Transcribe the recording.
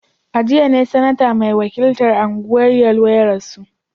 A jiya ne Sanata mai wakiltar Anguwan Yelwa ya rasu